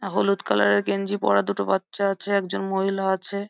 এ হলুদ কালার এর গেঞ্জি পরা দুটো বাচ্চা আছে একজন মহিলা আছে।